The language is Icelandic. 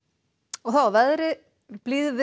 þá að veðri